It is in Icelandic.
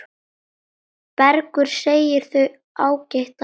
Bergur segir þau ágætan mat.